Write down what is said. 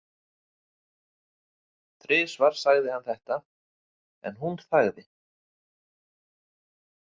Þrisvar sagði hann þetta en hún þagði.